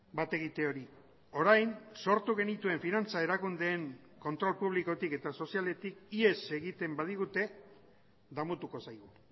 bat egite hori orain sortu genituen finantza erakundeen kontrol publikotik eta sozialetik ihes egiten badigute damutuko zaigu